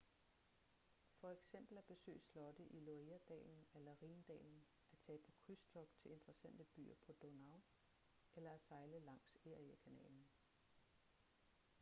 for eksempel at besøge slotte i loire-dalen eller rhindalen at tage på krydstogt til interessante byer på donau eller at sejle langs erie-kanalen